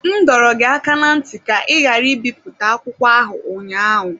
M dọrọ gị aka ná ntị ka ị ghara ibipụta akwụkwọ ahụ ụnyaahụ!